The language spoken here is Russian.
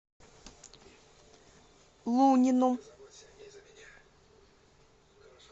лунину